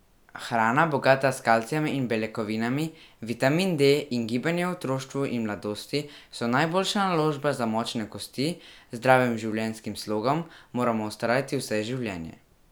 Hrana, bogata s kalcijem in beljakovinami, vitamin D in gibanje v otroštvu in mladosti so najboljša naložba za močne kosti, z zdravim življenjskim slogom moramo vztrajati vse življenje.